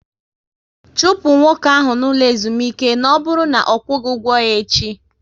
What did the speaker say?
Chụpụ nwoke ahụ n'ụlọ ezumike na ọ bụrụ na ọ kwughi ụgwọ ya echi!